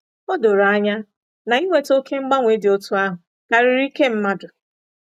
O doro anya na iweta oké mgbanwe dị otú ahụ karịrị ike mmadụ.